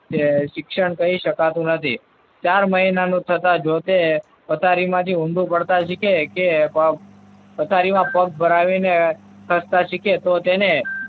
ને શિક્ષણ કહી શકાતું નથી. ચાર મહિનાનું થતા જો તે પથારીમાં ઊંધું પડતા શીખે કે પથારીમાં પગ ભરાવીને ખસતા શીખે તો તેને